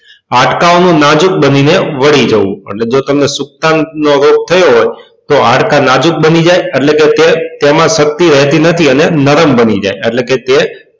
હાડકા ઓ નું નાજુક બની ને વળી જવું એટલે કે જો તમને સુક્તાંક નો રોગ થયો તો હાડકા નાજુક બની જાય એટલે કે તે તેમાં શક્તિ રેતી નથી અને નરમ બની જાત એટલે કે તે